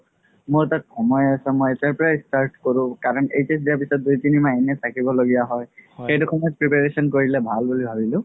মোৰ তাত সময় আছে মই এতিয়াৰ পৰা start কৰো কাৰণ HS দিয়া পিছত দুই তিনি মাহ এনে থাকিব লাগিয়া হয় সেইটো সময় preparation কৰিলে ভাল বুলি ভাবিলো